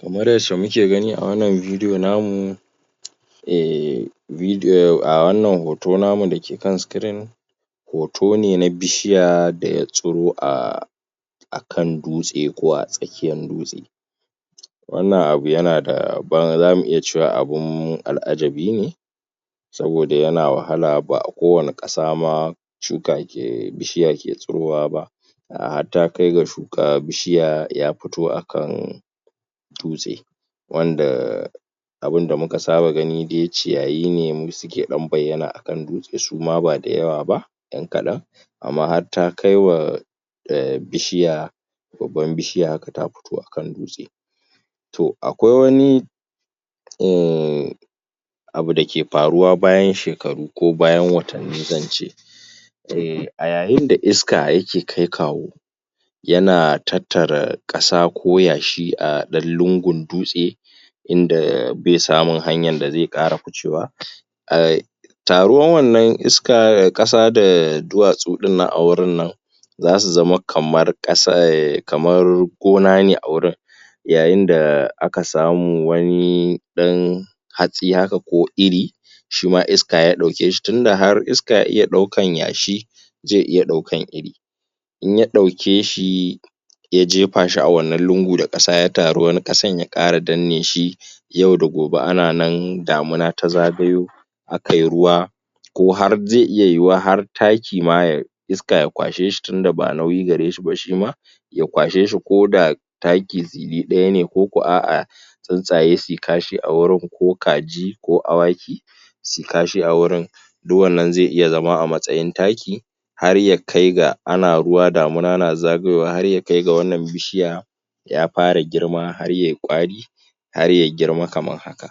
Kamar yadda muke gani a wannan bidiyo namu, wannan hoto namu da ke can sikirin hoto ne na bishiya da ya tsiro a akan dutse ko a tsakiyar dutse wannan abu ya na da zamu iya cewa abun al'ajibine saboda yana wahala, ba kowanne ƙasa ma shuka ke, bishiya ke tsirowa ba. da har ya kai ga shuka, bishiya ya fito akan dutse, wanda abin da muka saba gani dai ciyayi ne suke bayyana akan dutse suma ba da yawa ba, yan kaɗan, amma har ta kai wa em bishiya babbar bishiya haka ta fito akan dutse. To kawai wani uhmmn abu da ke faruwa bayan shekaru ko bayan watanni zan ce eh, a yayin da iska yaker kai-kawo, yana tattara ƙasa ko yashi a ɗan lungun dutse, inda bai samun hanyan da zai ƙara ficewa ehn, taruwar wannan iska da ƙasa da dutwasu ɗinnan a wurin nan zasu zama kamar gona ne a wurin, yayin da aka samu wani ɗan hatsi haka ko iri, shima iska ya ɗauke shi, tun da har, iska ya iya daukan yashi, zai iya daukan iri. In ya ɗauke shi, ya je fa shi a wannan lungu da ƙasa ya taru, wani kasan ya ƙara danne shi, yau da gobe ana nan, damina ta zagayo aka yi ruwa, ko har zai iya yiwuwa ko har taki ma iska ya kwashe shi tun da ba nauyi gare shi ba ma shima ya kwashe shi ko da taki tsilli ɗaya ne, koko a'a tsuntsaye su yi kashi awurin ko kaji ko awaki suyi kashi a wurin, duk wannan zai iya zama a matsayin taki, har ya kai ga ana ruwa damina na zagayowa har ya kai ga wannan bishiya ya fara girma har yai ƙwari har ya girma kamar haka,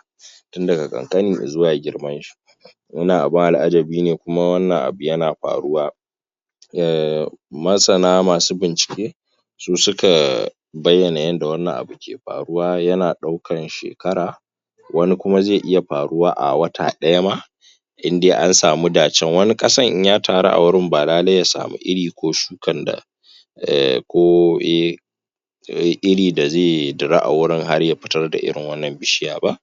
tun daga ƙan ƙani zuwa girman shi. Wannan abin al'ajibi ne kuma wannan yana faruwa ehnm, masana, masu bincike, su suka bayyana yadda wannan abu yake faruwa yana ɗaukan shekara wani kuma zai iya faruwa a wata ɗaya ma, in dai an sami dacen, wani ƙasan indai ya taru a wurin ba lallai ya samu iri ko shukan da? ko iri da zai tsira a wurin har da zai fitar da iri wannan bishiyar b.a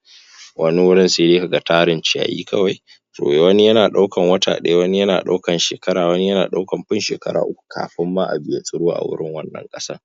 Wani wurin sai dai ka ga tarin ciyayi kawai, wani na ɗaukan wata ɗaya, wani na ɗaukan shekara, wani na ɗaukan fiye da shekara uku kafin ma abu ya tsiro a wurin wannan ƙasan.